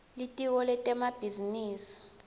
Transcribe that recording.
litiko lemabhizinisi